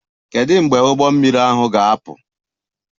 Kedu mgbe ụgbọ mmiri ahụ ga-apụ?